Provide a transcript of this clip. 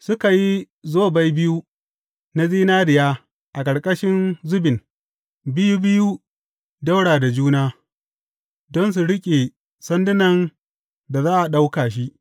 Suka yi zobai biyu na zinariya a ƙarƙashin zubin, biyu biyu ɗaura da juna, don su riƙe sandunan da za a ɗauka shi.